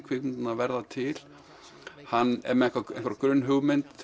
kvikmyndirnar verða til hann er með hugmynd